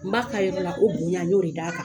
N b'a ka yɔrɔ la,o bonya n y'o de d'a kan.